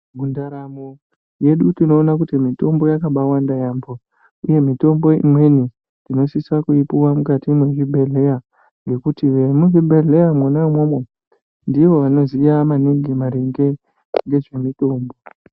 Mundaramo yedu tinoona kuti mitombo yakabaawanda yaampho, uye mitombo imweni tinosisa kuipiwa mukati mwezvibhedhleya, ngekuti vemuzvibhedhleya mwona umwomwo, ndivo vanoziya maningi ,maringe ngezvemitombo.